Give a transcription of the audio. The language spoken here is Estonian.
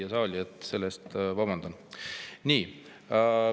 Vabandan pärast.